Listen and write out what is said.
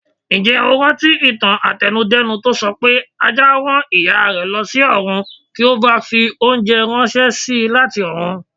Ǹjẹ́ o rántí ìtàn àtẹnu-dẹ́nu tó sọpé Ajá rán Ìyárẹ̀ lọsí ọ̀run kí ó bàa fi oúnjẹ ránṣési láti ọ̀run.